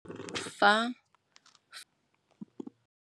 Fa.